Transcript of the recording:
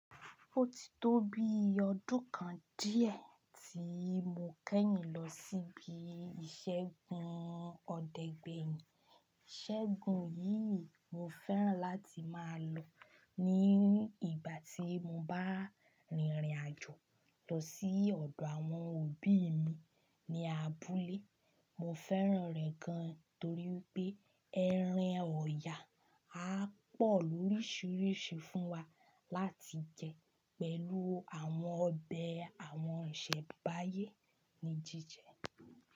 Ó ti tó bi ọdún kan díẹ̀ tí mo kẹ́yìn lọ síbi ìṣẹ́gun ọdẹgbẹyìn. Ìṣẹ́gun yìí mo fẹ́ràn láti máa lọ ní ìgbà tí mo bá rìnrìn-àjò lọ sí ọ̀dọ̀ àwọn òbí mi ní abúlé. Mo fẹ́ràn rẹ̀ gan torí pé ẹran ọ̀ya á pọ̀ lóríṣiríṣi fún wa láti jẹ pẹ̀lú àwọn ọbẹ̀ àwọn ọ̀ṣẹ̀ Báyé ní jíjẹ.